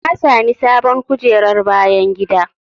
Na sami sabon kujerar bayan gida.